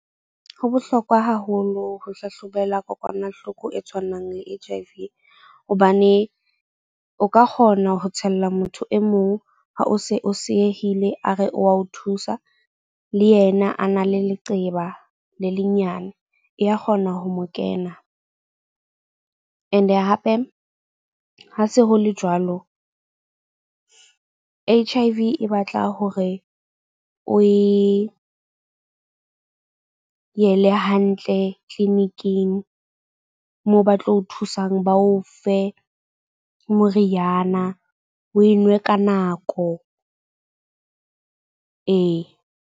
Ho bohlokwa haholo ho hlahlobela kokwanahloko e tshwanang le H_I_V. Hobane o ka kgona ho tshella motho e mong ha o se o seyehile a re o a o thusa. Le yena a na le leqeba le le nyane, ya kgona ho mo kena. And-e hape, ha se ho le jwalo. H_I_V e batla hore o e yele hantle clinic-ing moo ba tlo o thusang ba o fe moriana o e nwe ka nako ee.